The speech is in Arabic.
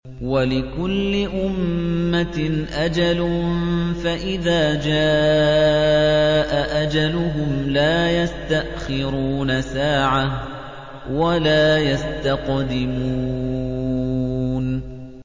وَلِكُلِّ أُمَّةٍ أَجَلٌ ۖ فَإِذَا جَاءَ أَجَلُهُمْ لَا يَسْتَأْخِرُونَ سَاعَةً ۖ وَلَا يَسْتَقْدِمُونَ